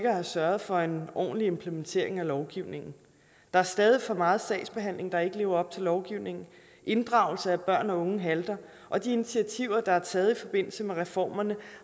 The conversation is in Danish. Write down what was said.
at have sørget for en ordentlig implementering af lovgivningen der er stadig for meget sagsbehandling der ikke lever op til lovgivningen inddragelse af børn og unge halter og de initiativer der er taget i forbindelse med reformerne